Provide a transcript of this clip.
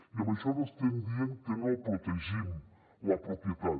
i amb això no estem dient que no protegim la propietat